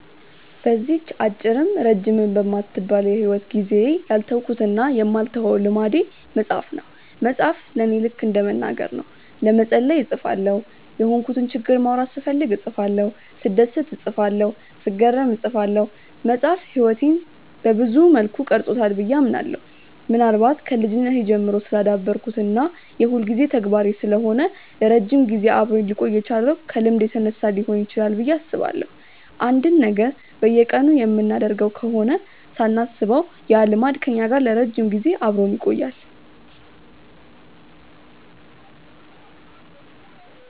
በዚህች አጭርም ረጅምም በማትባል የሂወት ጊዜዬ ያልተውኩትና የማልተወው ልምዴ መጻፍ ነው። መጻፍ ለኔ ልከ እንደ መናገር ነው። ለመጸለይ እጽፋለሁ፤ የሆንኩትን ችግር ማውራት ስፈልግ እጽፋለሁ፤ ስደሰት እጽፋለሁ፤ ስገረም እጽፋለሁ። መጻፍ ህይወቴን ሰብዙ መልኩ ቀርጾታል ብዬ አምናለሁ። ምናልባት ከልጅነቴ ጀምሮ ስላዳበርኩት እና የሁልጊዜ ተግባሬ ስለሆነ ለረጅም ጊዜ አብሮኝ ሊቆይ የቻለው ከልምድ የተነሳ ሊሆን ይችላል ብዬ አስባለሁ። አንድን ነገር በየቀኑ የምናደርገው ከሆነ ሳናስበው ያ ልማድ ከኛ ጋር ለረጅም ጊዜ አብሮን ይቆያል።